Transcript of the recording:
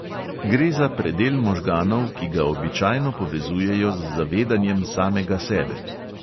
Gre za predel možganov, ki ga običajno povezujejo z zavedanjem samega sebe.